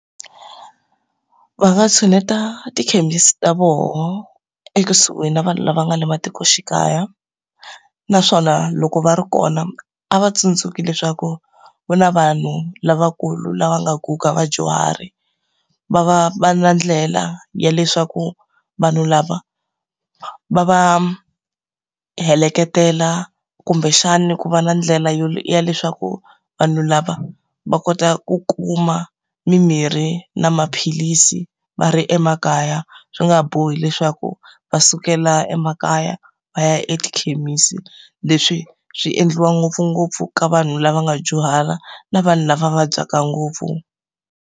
Va nga tshuneta tikhemisi ta voho ekusuhi na vanhu lava nga le matikoxikaya, naswona loko va ri kona a va tsundzuki leswaku ku na vanhu lavakulu lava nga guga vadyuhari. Va va va ri na ndlela ya leswaku vanhu lava va va heleketela, kumbexani ku va na ndlela ya leswaku vanhu lava va kota ku kuma mimirhi na maphilisi va ri emakaya, swi nga bohi leswaku va sukela emakaya va ya etikhemisi. Leswi swi endliwa ngopfungopfu ka vanhu lava nga dyuhala na vanhu lava vabyaka ngopfu.